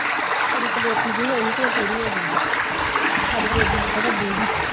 ਕੁੜੀ ਪਲੇਠੀ ਦੀ ਹੋਇ ਤੇ ਉਹ ਪੂਰੀ ਹੋ ਗਯੀ ਸੀ ਹਾਡੀ ਡੇਜ਼ੀ ਨਾਲੋਂ ਵੱਡੀ ਸੀ।